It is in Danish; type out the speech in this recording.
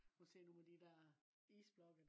at se nogle af de der isblokke